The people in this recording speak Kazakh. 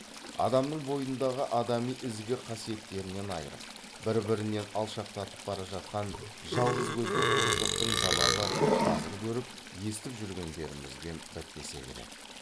адамның бойындағы адами ізгі қасиеттерінен айырып бір бірінен алшақтатып бара жатқан жалғыз көзді құбыжықтың залалы қазір көріп естіп жүргендерімізбен бітпесе керек